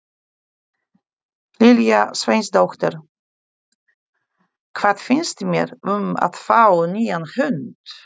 Lilja Sveinsdóttir: Hvað finnst mér um að fá nýjan hund?